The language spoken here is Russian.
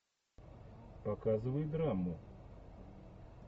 показывай драму